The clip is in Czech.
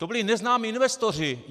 To byli neznámí investoři.